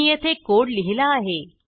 मी येथे कोड लिहीला आहे